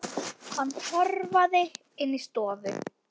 Hann hörfaði inn í stofu.